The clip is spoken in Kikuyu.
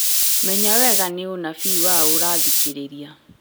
Menya wega nĩ ũnabii waũ ũrathikĩrĩria